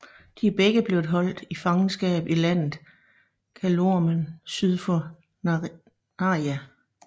De er begge blevet holdt i fangenskab i landet Calormen syd for Narnia